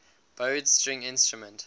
bowed string instrument